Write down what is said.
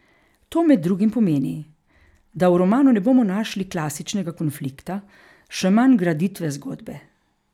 To med drugim pomeni, da v romanu ne bomo našli klasičnega konflikta, še manj graditve zgodbe.